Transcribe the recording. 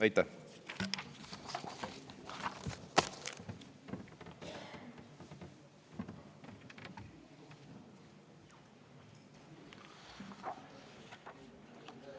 Aitäh!